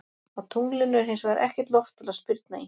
Á tunglinu er hins vegar ekkert loft til að spyrna í.